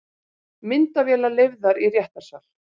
Myndavélar leyfðar í réttarsal